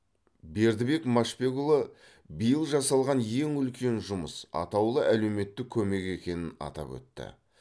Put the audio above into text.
бердібек машбекұлы биыл жасалған ең үлкен жұмыс атаулы әлеуметтік көмек екенін атап өтті